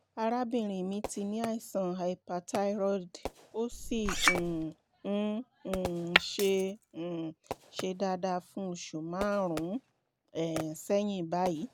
arábìnrin mi ti ní àìsàn hyperthyroid ó sì um ń um ṣe um ṣe dáadáa fún oṣù márùn-ún um sẹ́yìn báyìí